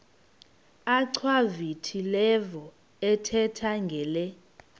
achwavitilevo ethetha ngeli